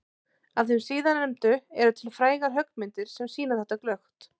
Af þeim síðarnefndu eru til frægar höggmyndir sem sýna þetta glöggt.